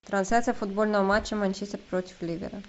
трансляция футбольного матча манчестер против ливера